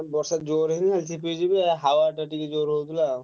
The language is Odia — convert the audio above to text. ବର୍ଷା ଜୋରେ ନାହିଁ ଝିପଝିପ ଆଉ ହାୱା ଟା ଜୋରେ ହଉଥିଲା ଆଉ।